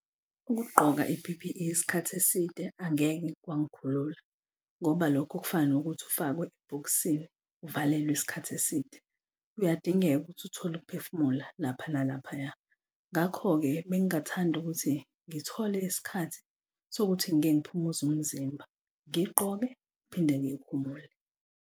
Ukugqoka i-P_P_E isikhathi eside angeke kwangikhulula ngoba lokho kufana nokuthi ufakwe ebhokisini uvalelwa isikhathi eside kuyadingeka ukuthi uthole ukuphefumula lapha nalaphaya. Ngakho-ke bengingathanda ukuthi ngithole isikhathi sokuthi ngike ngiphumuze umzimba ngiyigqoke ngiphinde ngiyikhumule.